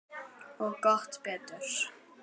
Og gott betur.